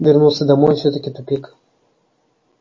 вернулся домой и всё-таки тупик